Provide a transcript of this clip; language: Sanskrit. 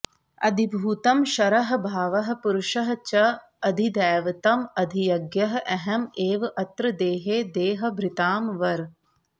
अधिभूतं क्षरः भावः पुरुषः च अधिदैवतम् अधियज्ञः अहम् एव अत्र देहे देहभृतां वर